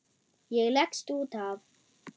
Ég leggst út af.